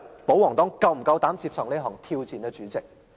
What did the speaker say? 保皇黨是否夠膽接受這項挑戰？